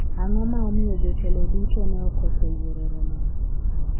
ang'o ma omiyo jotelo duto ne okoso yuoro romo no